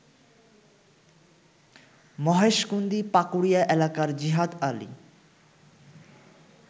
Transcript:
মহেশকুন্দি পাকুড়িয়া এলাকার জিহাদ আলী